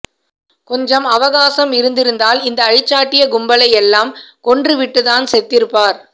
கொஞ்சம் அவகாசம் இருந்திருந்தால் இந்த அழிச்சாட்டிய கும்பலை எல்லாம் கொன்றுவிட்டுத்தான் செத்திருப்பார்